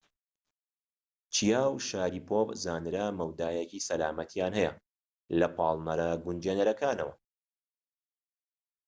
چیاو و شاریپۆڤ زانرا مەودایەکی سەلامەتیان هەیە لە پاڵنەرە گونجێنرەکانەوە